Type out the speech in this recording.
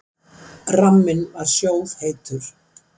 Ramminn var sjóðheitur.